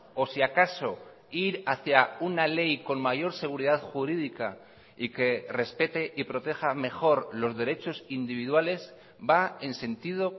o si acaso ir hacia una ley con mayor seguridad jurídica y que respete y proteja mejor los derechos individuales va en sentido